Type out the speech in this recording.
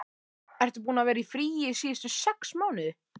Ertu búinn að vera í fríi síðustu sex mánuði?